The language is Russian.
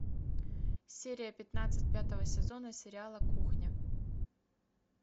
серия пятнадцать пятого сезона сериала кухня